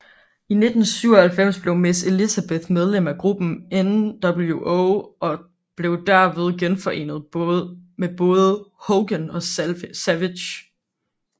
I 1997 blev Miss Elizabeth medlem af gruppen nWo og blev derved genforenet med både Hogan og Savage